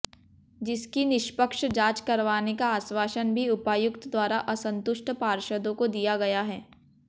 जिसकी निष्पक्ष जांच करवाने का आश्वासन भी उपायुक्त द्वारा असंतुष्ट पार्षदों को दिया गया है